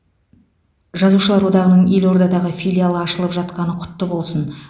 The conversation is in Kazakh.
жазушылар одағының елордадағы филиалы ашылып жатқаны құтты болсын